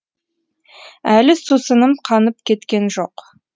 әлі сусыным қанып кеткен жоқ